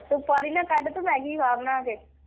ਤੂੰ ਪਾਣੀ ਨਾ ਕੱਢ ਤੂੰ ਮੈਗੀ ਖਾ ਬਣਾ ਕੇ।